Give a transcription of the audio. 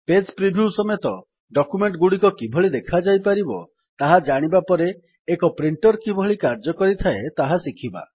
page preview ସମେତ document ଗୁଡିକ କିଭଳି ଦେଖାଯାଇପାରିବ ତାହା ଜାଣିବାପରେ ଏକ ପ୍ରିଣ୍ଟର କିଭଳି କାର୍ଯ୍ୟ କରିଥାଏ ତାହା ଶିଖିବା